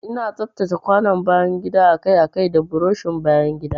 Ina tsaftace kwanon bayan gida akai-akai da burushin bayan gida.